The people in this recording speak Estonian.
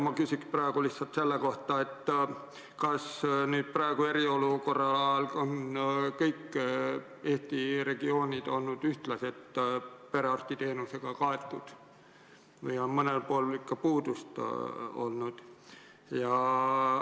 Ma küsin praegu lihtsalt selle kohta, kas nüüd, eriolukorra ajal on kõik Eesti regioonid olnud ühtlaselt perearstiteenusega kaetud või on mõnel pool ikka puudust olnud.